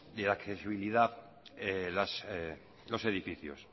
de la accesibilidad los edificios